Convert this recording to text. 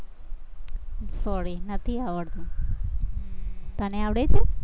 sorry નથી આવડતું હમ તને આવડે છે?